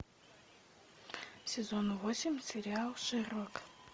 сезон восемь сериал шерлок